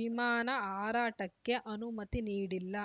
ವಿಮಾನ ಹಾರಾಟಕ್ಕೆ ಅನುಮತಿ ನೀಡಿಲ್ಲ